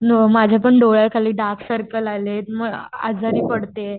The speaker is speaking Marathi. न माझ्यापण डॉयलकळी डार्कसर्कल आलेत आजारी पडते.